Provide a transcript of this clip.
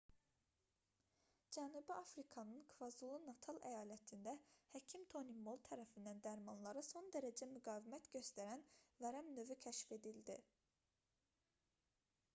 cənubi afrikanın kvazulu-natal əyalətində həkim toni mol tərəfindən dərmanlara son dərəcə müqavimət göstərən vərəm növü xdr-tb kəşf edildi